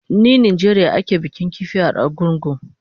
Ni Najeriya ake bikin kifi a Argungu